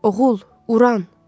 Oğul, Uran.